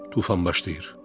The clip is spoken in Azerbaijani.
Tufan başlayır.